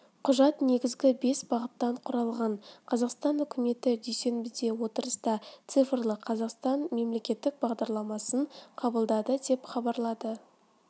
құжат негізгі бес бағыттан құралған қазақстан үкіметі дүйсенбіде отырыста цифрлы қазақстан мемлекеттік бағдарламасын қабылдады деп хабарлады